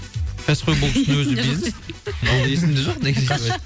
кәсіпқой бокстың өзі бизнес бұл есімде жоқ негізі